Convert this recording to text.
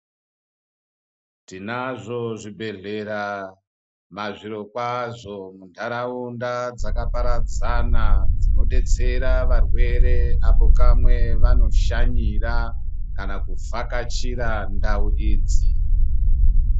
Tinazvo zvibhedhlera mazviro kwazvo mundaraunda dzaka paradzana dzinobetsera varwere apo kamwe pavano shanyira kana kuvhakachira ndau idzi.